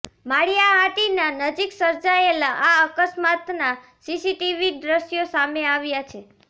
માળિયા હાટીના નજીક સર્જાયેલા આ અકસ્માતના સીસીટીવી દ્રશ્યો સામે આવ્યા છે